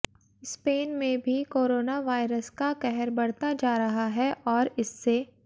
Spain में भी corona virus का कहर बढ़ता जा रहा है और इससे